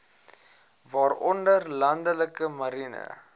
waaronder landelike marine